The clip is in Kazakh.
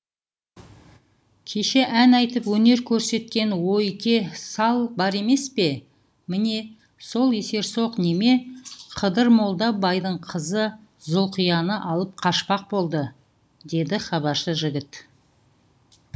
кеше ән айтып өнер көрсеткен ойке сал бар емес пе міне сол есерсоқ неме қыдырмолда байдың қызы зұлқияны алып қашпақ болды деді хабаршы жігіт